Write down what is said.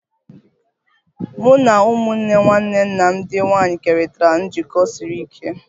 Mụ na ụmụnne nwanne nna m ndị nwanyị kerịtara njikọ siri ike